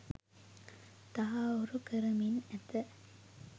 තහවුරු කරමින් ඇත.